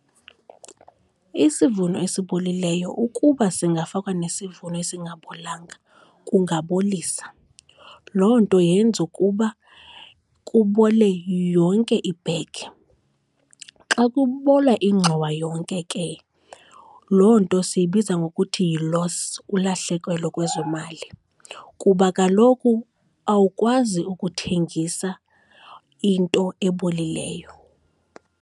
Isivuno esibolileyo ukuba singafakwa nesivuno esingabolanga kungabolisa. Loo nto yenze ukuba kubole yonke ibhegi. Xa kubola ingxowa yonke ke, loo nto siyibiza ngokuthi yi-loss, ulahlekelo kwezemali kuba kaloku awukwazi ukuthengisa into ebolileyo.